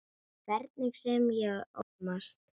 Hvernig sem ég ólmast.